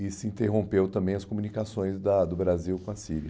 E se interrompeu também as comunicações da do Brasil com a Síria.